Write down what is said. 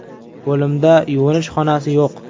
Bo‘limda yuvinish xonasi yo‘q.